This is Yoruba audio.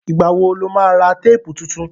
Ìgbà wo lo má ra téèpù tuntun?